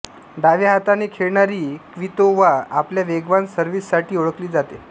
डाव्या हाताने खेळणारी क्वितोव्हा आपल्या वेगवान सर्व्हिससाठी ओळखली जाते